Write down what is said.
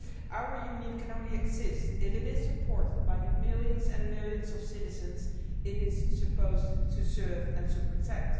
Our Union can only exist if it is supported by the millions and millions of citizens it is supposed to serve and to protect.